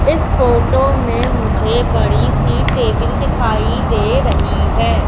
इस फोटो में मुझे बड़ी सी टेबिल दिखाई दे रही है।